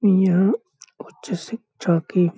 यहाँ उच्च शिक्षा की --